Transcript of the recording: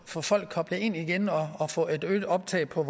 få folk koblet ind igen og at få et øget optag på